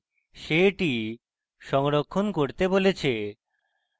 he এটি সংরক্ষণ করতে বলেছে